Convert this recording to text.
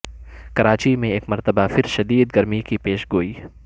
کراچی میں ایک مرتبہ پھر شدید گرمی کی پیشگوئی